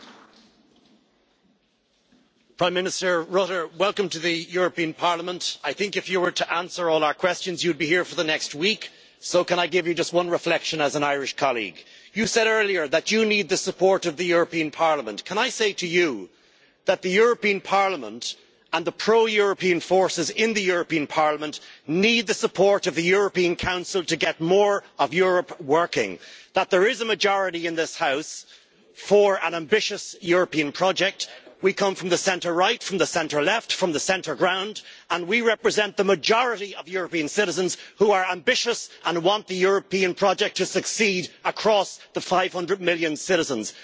Mr President, I would like to welcome Prime Minister Rutte to the European Parliament. Prime Minister, I think if you were to answer all our questions, you'd be here for the next week, so can I give you just one reflection, as an Irish colleague? You said earlier that you need the support of the European Parliament. Can I say to you that the European Parliament and the pro European forces in the European Parliament need the support of the European Council to get more of Europe working? There is a majority in this House for an ambitious European project. We come from the centre right and the centre left, from the centre ground, and we represent the majority of European citizens who are ambitious and want the European project to succeed across the 500 million citizens.